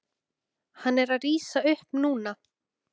Hann er að rísa upp núna.